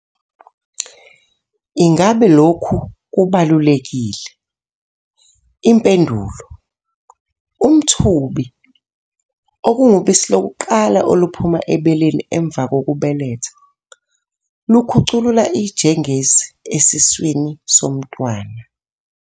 Ingabe lokhu kubalulekile? Impendulo- Umthubi, okungubisi lokuqala oluphuma ebeleni emuva kokubeletha, lukhuculula ijengezi esiswini somntwana.